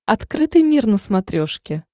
открытый мир на смотрешке